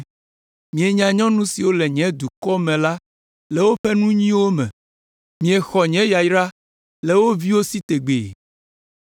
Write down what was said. Mienya nyɔnu siwo le nye dukɔ me la le woƒe aƒe nyuiwo me. Miexɔ nye yayra le wo viwo si tegbee.